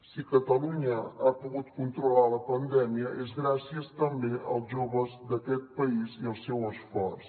si catalunya ha pogut controlar la pandèmia és gràcies també als joves d’aquest país i al seu esforç